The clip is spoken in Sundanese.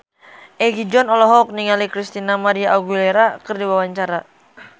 Egi John olohok ningali Christina María Aguilera keur diwawancara